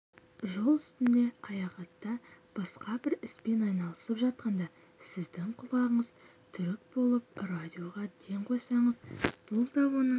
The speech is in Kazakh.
жол үстінде аяхатта басқа бір іспен айналысып жатқанда сіздің құлағыңыз түрік болып радиоға ден қойсаңыз бұл да оның